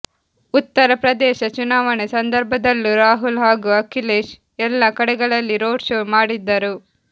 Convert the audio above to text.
ಉತ್ತರ ಪ್ರದೇಶ ಚುನಾವಣೆ ಸಂದರ್ಭದಲ್ಲೂ ರಾಹುಲ್ ಹಾಗೂ ಅಖಿಲೇಶ್ ಎಲ್ಲ ಕಡೆಗಳಲ್ಲಿ ರೋಡ್ ಶೋ ಮಾಡಿದ್ದರು